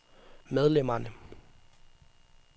medlemmerne